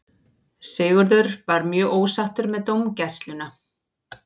Sigurður var mjög ósáttur með dómgæsluna.